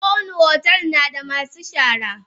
Kowani otel nada masu shara.